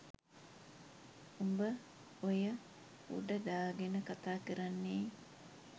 උඹ ඔය උඩ දාගෙන කතාකරන්නේ